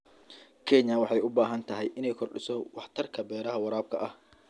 Kenya waxay u baahan tahay inay kordhiso waxtarka beeraha waraabka ah.